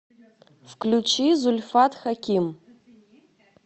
включи зульфат хаким